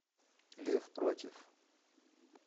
лев против